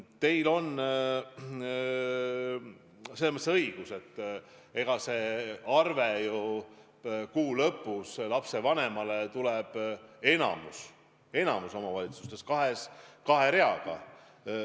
Teil on selles mõttes õigus, et lapsevanemale kuu lõpus esitatavas arves on enamikus omavalitsustes kaks rida.